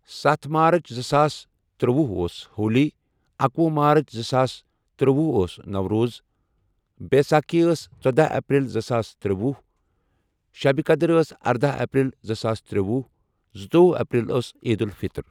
سَتھ مارٕچ زٕ ساس ترٛوٚوُہ ٲس ہولی اکوُہ مارٕچ زٕ ساس ترٛوٚوُہ ٲس نوروز بایساکی ٲس ژۄدہ اپریل زٕ ساس ترٛوٚوُہ شیٚبہِ قدٕر ٲس اَردہ اپریل زٕ ساس ترٛوٚوُہ زٕتووُہ اپریل ٲس عیدُلفِطٕر۔